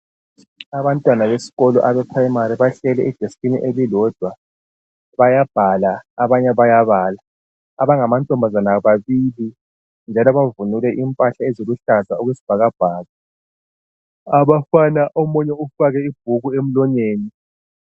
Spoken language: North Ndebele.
Abantwana besikolo abePrimary bahleli edeskini elilodwa bayabhala abanye bayabala. Abangamantombazana babili njalo bavunule impahla eziluhlaza okwesibhakabhaka. Abafana omunye ufake ibhuku emlonyeni.